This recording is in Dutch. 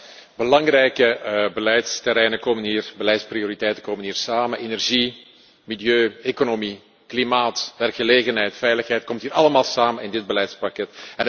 Alle belangrijke beleidsterreinen en beleidsprioriteiten komen hier samen energie, milieu, economie, klimaat, werkgelegenheid, veiligheid. Het komt hier allemaal samen in dit beleidspakket.